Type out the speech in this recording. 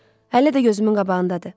Hələ də gözümün qabağındadır.